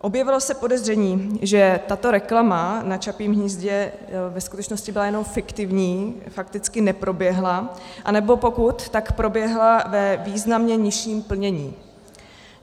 Objevilo se podezření, že tato reklama na Čapím hnízdě ve skutečnosti byla jenom fiktivní, fakticky neproběhla, anebo pokud, tak proběhla ve významně nižším plnění.